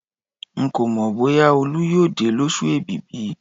Ń kò mọ bóyá Olú yóò dé lósù èbìbì